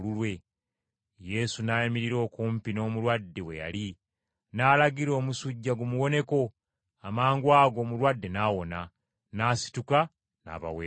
Yesu n’ayimirira okumpi n’omulwadde we yali, n’alagira omusujja gumuwoneko, amangwago omulwadde n’awona, n’asituka n’abaweereza!